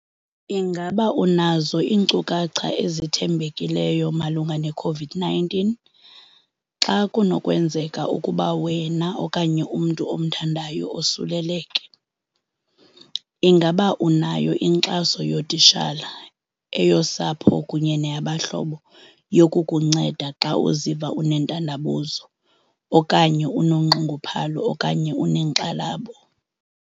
Ingaba unazo iinkcukacha ezithembekileyo malunga ne-COVID-19 xa kunokwenzeka ukuba wena okanye umntu omthandayo osuleleke? Ingaba unayo inkxaso yootitshala, eyosapho kunye neyabahlobo yokukunceda xa uziva unentandabuzo okanye unonxunguphalo okanye unenkxalabo?